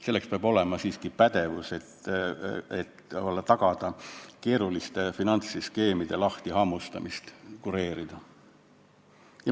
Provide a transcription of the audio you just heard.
Selleks peab olema siiski pädevus, et keeruliste finantsskeemide lahtihammustamist kureerida.